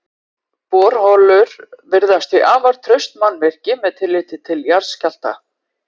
Borholur virðast því afar traust mannvirki með tilliti til jarðskjálfta.